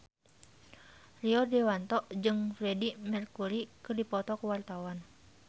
Rio Dewanto jeung Freedie Mercury keur dipoto ku wartawan